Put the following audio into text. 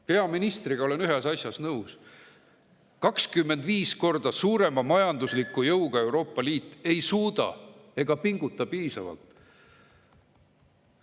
Peaministriga olen ühes asjas nõus: 25 korda suurema majandusliku jõuga Euroopa Liit ei pinguta piisavalt.